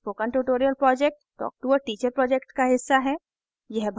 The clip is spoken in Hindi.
spoken tutorial project talktoa teacher project का हिस्सा है